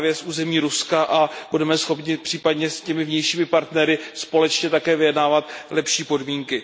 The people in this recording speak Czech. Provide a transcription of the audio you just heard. právě z území Ruska, a budeme schopni případně s těmi vnějšími partnery společně také vyjednávat lepší podmínky.